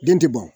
Den ti ban